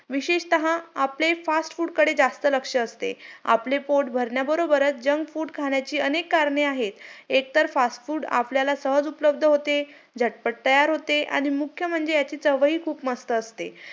कारण शिक्षणामुळेच आपल्याला ज्ञान प्राप्त होतो .आपल्याला चांगले संस्कार लागते.आणि ह्या माझ्या पहिली ते आता बारावीच्या प्रवासातून असं कळालं कि ,अं शाळा